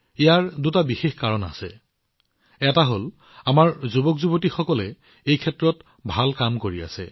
ইয়াৰ দুটা বিশেষ কাৰণ আছে এটা হল আমাৰ যুৱকযুৱতীসকলে এই ক্ষেত্ৰত আশ্চৰ্যকৰ কাম কৰি আছে